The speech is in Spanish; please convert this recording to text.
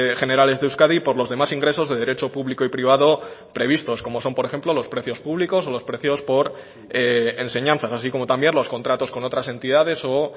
generales de euskadi por los demás ingresos de derecho público y privado previstos como son por ejemplo los precios públicos o los precios por enseñanza así como también los contratos con otras entidades o